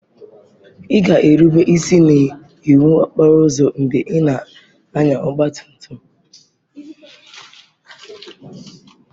Ị ga-erube isi n'iwu okporo ụzọ mgbe ị na-anya ọgba tum tum.